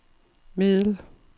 middel